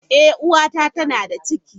Eh uwata tana da ciki.